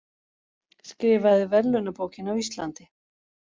Skrifaði verðlaunabókina á Íslandi